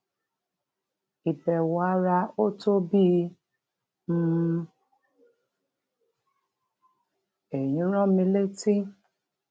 a ti rí òkú òkú akẹkọọ fásitì ife tó dàwátì lọtẹẹlì gbajúmọ oníṣòwò kan ìwádìí sì ti bẹrẹ lórí ẹọlọpàá